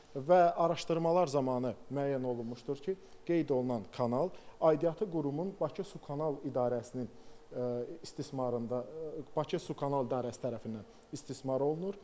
Və araşdırmalar zamanı müəyyən olunmuşdur ki, qeyd olunan kanal aidiyyəti qurumun Bakı Su Kanal İdarəsinin istismarında Bakı Su Kanal İdarəsi tərəfindən istismar olunur.